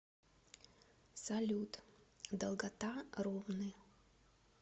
салют долгота ромны